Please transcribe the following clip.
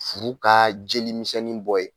Furu ka jelimisɛnni bɔ yen